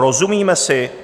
Rozumíme si?